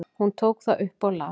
Hún tók það upp og las.